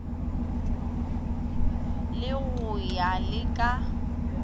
re go ya le ka